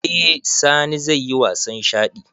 Eh sani zaiyi wasan shaɗi